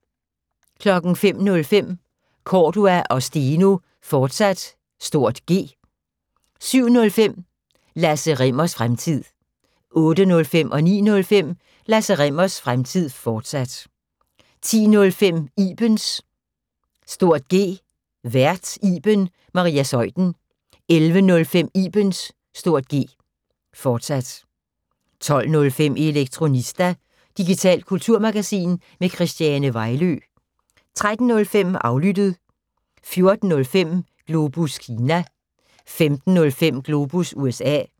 05:05: Cordua & Steno, fortsat (G) 07:05: Lasse Rimmers Fremtid 08:05: Lasse Rimmers Fremtid, fortsat 09:05: Lasse Rimmers Fremtid, fortsat 10:05: Ibens (G) Vært: Iben Maria Zeuthen 11:05: Ibens (G), fortsat 12:05: Elektronista – digitalt kulturmagasin med Christiane Vejlø 13:05: Aflyttet 14:05: Globus Kina 15:05: Globus USA